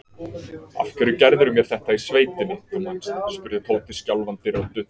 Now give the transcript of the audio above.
Af hverju gerðirðu mér þetta í sveitinni, þú manst? spurði Tóti skjálfandi röddu.